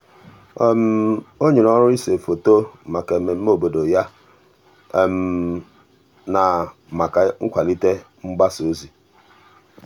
um o nyere ọrụ ise foto maka mmemme obodo ya na maka nkwalite mgbasa ozi.